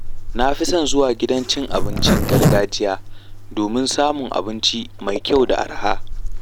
Na fi son zuwa gidan cin abincin gargajiya domin samun abinci mai kyau da araha.